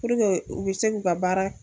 Puruke u be se k'u ka baara